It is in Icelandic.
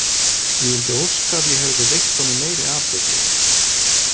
Ég vildi óska að ég hefði veitt honum meiri athygli.